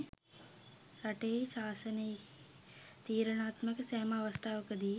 රටෙහි ශාසනයෙහි තීරණාත්මක සෑම අවස්ථාවකදී